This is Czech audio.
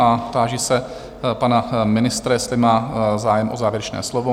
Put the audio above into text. A táži se pana ministra, jestli má zájem o závěrečné slovo?